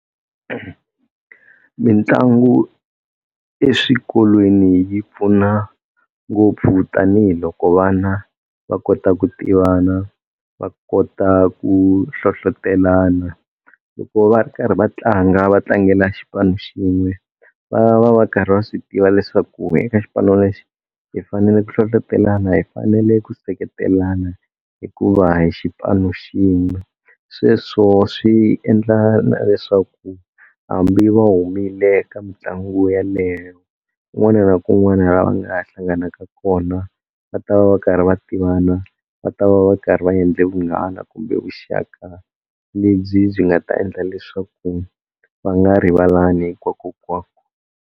Mitlangu eswikolweni yi pfuna ngopfu tanihiloko vana va kota ku tivana va kota ku hlohlotelana loko va ri karhi va tlanga va tlangela xipano xin'we va va va karhi va swi tiva leswaku eka xipano lexi hi fanele ku hlohlotelana hi fanele ku seketelana hikuva hi xipano xin'we, sweswo swi endla na leswaku hambi va humile ka mitlangu yaleyo kun'wana na kun'wana la va nga hlanganaka kona va ta va va karhi va tivana, va ta va va karhi va endle vunghana kumbe vuxaka lebyi byi nga ta endla leswaku va nga rivalani hikwakokwako.